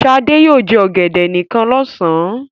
Sadé yóò jẹ ọ̀gẹ̀dẹ̀ nìkan lọ́sàn-án.